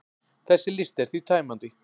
Þessi listi er því tæmandi.